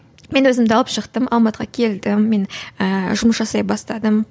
мен өзімді алып шықтым алматыға келдім мен ііі жұмыс жасай бастадым